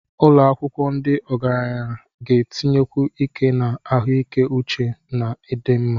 Ụlọ akwụkwọ ndị ogaranya ga-etinyekwu ike na ahụike uche na ọdịmma.